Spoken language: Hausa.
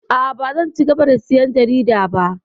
A'a, bazan cigaba da sayan jarida ba.